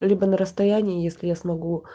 либо на расстоянии если я смогу